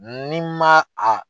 Ni ma a